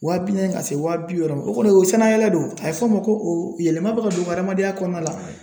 Waa bi naani ka se wa bi wɔɔrɔ o kɔni o ye sanayɛlɛ de ye o a be fɔ o ma ko o yɛlɛma be ka don o ka adamadenya kɔnɔna la